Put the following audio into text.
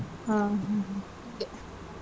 ಹ್ಮ್, ಹ್ಮ್ ಹ್ಮ್.